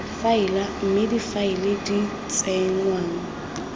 faela mme difaele di tsenngwa